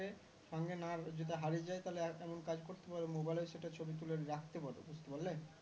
সঙ্গে না যদি হারিয়ে যাই তাহলে এমন কাজ করতে পারো mobile এ ও সেটা ছবি তুলে রাখতে পারো বুজতে পারলে